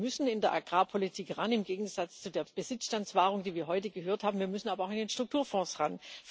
Wir müssen in der Agrarpolitik ran im Gegensatz zu der Besitzstandswahrung, die wir heute gehört haben wir müssen aber auch in den Strukturfonds ran.